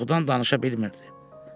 Qorxudan danışa bilmirdi.